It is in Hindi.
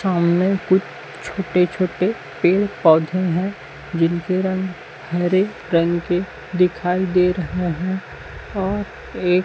सामने कुछ छोटे छोटे पेड़ पौधे है जिनके रंग हरे रंग के दिखाई दे रहे है और एक --